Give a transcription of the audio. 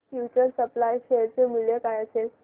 future supply share चे मूल्य काय असेल